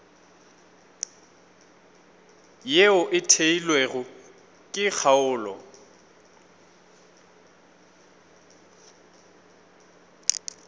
yeo e theilwego ke kgaolo